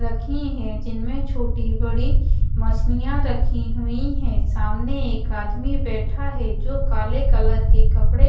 रखी हैं जिनमें छोटी बड़ी मछलियां रखी हुई हैं सामने एक आदमी बैठा है जो काले कलर के कपड़े--